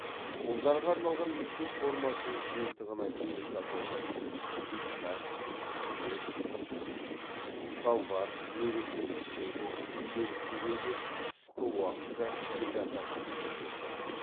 ұлдарға арналған мектеп формасының жиынтығына келесі атаулар кіреді пиджак жилет шалбар мерекелік көйлек күнделікті көйлек қысқы уақытта трикотаж кеудешесі